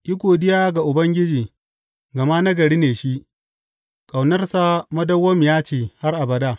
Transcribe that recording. Yi godiya ga Ubangiji, gama nagari ne shi; ƙaunarsa madawwamiya ce har abada.